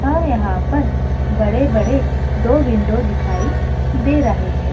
और यहाँ पर बड़े-बड़े दो विंडो दिखाई दे रहे हैं।